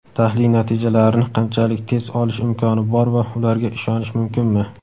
tahlil natijalarini qanchalik tez olish imkoni bor va ularga ishonish mumkinmi?.